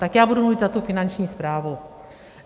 Tak já budu mluvit za tu Finanční správu.